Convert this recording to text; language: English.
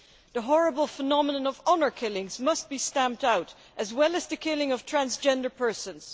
The horrible phenomenon of honour killings must be stamped out as well as the killing of transgender persons.